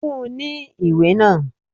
Fún ní ìwé náà!